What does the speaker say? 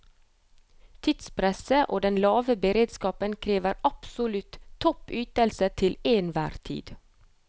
Tidspresset og den lave beredskapen krever absolutt topp ytelse til enhver tid.